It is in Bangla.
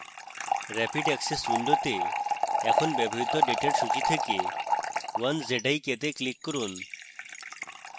rapid access window তে এখন ব্যবহৃত ডেটার সূচী থেকে 1zik এ click করুন